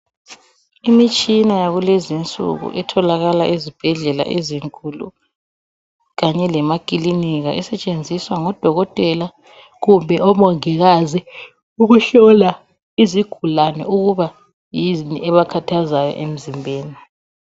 Imitshina yakulezinsuku etholakala ezibhedlela ezinkulu kanye lemakilinika esetshenziswa ngodokotela kumbe omongikazi ukuhlola izigulani ukuba yini ebakhathazayo emzimbeni.